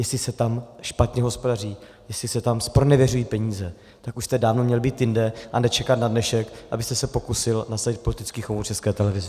Jestli se tam špatně hospodaří, jestli se tam zpronevěřují peníze, tak už jste dávno měli být jinde a nečekat na dnešek, abyste se pokusil nasadit politický chomout České televizi.